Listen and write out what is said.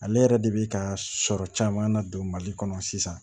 Ale yɛrɛ de bi ka sɔrɔ caman na don mali kɔnɔ sisan